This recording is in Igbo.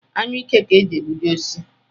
Anyụike ka e ji egbuji osisi